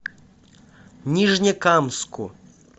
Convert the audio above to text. нижнекамску